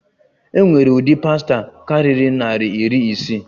E nwere udi pasta kariri nari iri isii.